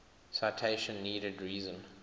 citation needed reason